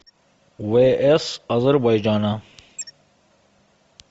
вс азербайджана